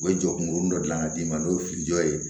U ye jɔkunkurun dɔ dilan ka d'i ma n'o ye fili jɔ ye